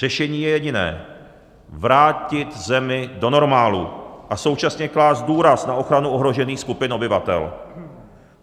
Řešení je jediné - vrátit zemi do normálu a současně klást důraz na ochranu ohrožených skupin obyvatel.